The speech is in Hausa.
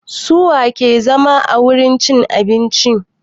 Su wa ke zama a wurin cin abincin?